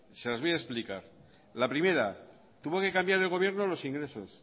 se las voy a explicar la primera tuvo que cambiar el gobierno los ingresos